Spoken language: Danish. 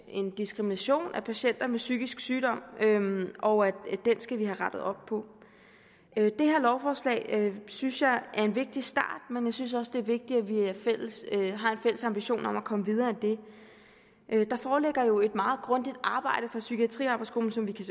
en diskrimination af patienter med psykisk sygdom og at den skal vi have rettet op på det her lovforslag synes jeg er en vigtig start men jeg synes også det er vigtigt at vi har en fælles ambition om at komme videre end det der foreligger jo et meget grundigt arbejde fra psykiatriarbejdsgruppen som vi kan